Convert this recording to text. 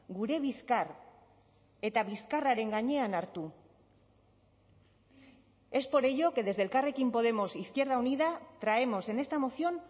gure bizkar eta bizkarraren gainean hartu es por ello que desde elkarrekin podemos izquierda unida traemos en esta moción